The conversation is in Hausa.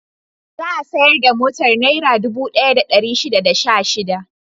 Za a sayar da motar Naira dubu ɗaya da ɗari shida da goma sha shida.